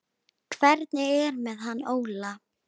Hvernig er með hann Óla?